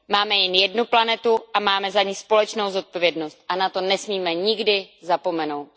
Máme jen jednu planetu a máme za ni společnou zodpovědnost a na to nesmíme nikdy zapomenout.